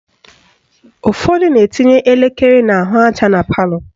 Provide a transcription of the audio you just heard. Ụfọdụ na-etinye elekere n'ahụaja na palọ